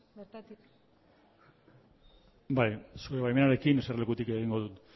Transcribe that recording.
bertatik bai zure baimenarekin eserlekutik egingo dut